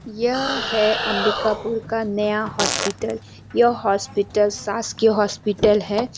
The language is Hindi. यह हैं अंबिकापुर का नया हॉस्पिटल यह हॉस्पिटल शासकीय हॉस्पिटल है।